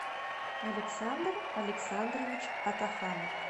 александр александрович атаханов